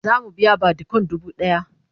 zamu biya badikon dubu ɗaya